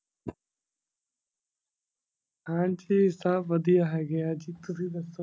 ਹਾਂਜੀ ਸਭ ਵਧੀਆ ਹੈਗੇ ਆ ਜੀ ਤੁਸੀਂ ਦੱਸੋ?